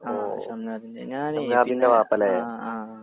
ആ ഷംനാദിന്റെ ഞാനേയ് പിന്നെ ആ ആ.